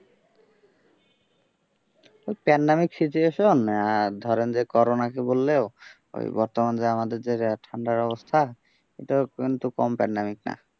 pandemic situation ধরেন যে করোনাকে বললেও ওই বর্তমান যে আমাদের ঠান্ডার অবস্থা এটাও কিন্তু কম pandemic না।